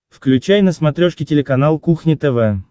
включай на смотрешке телеканал кухня тв